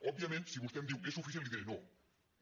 òbviament si vostè em diu és suficient li diré no no